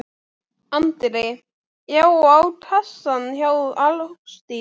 Andri: Já og á kassann hjá Ásdísi?